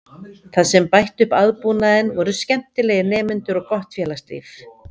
Það sem bætti upp aðbúnaðinn voru skemmtilegir nemendur og gott félagslíf.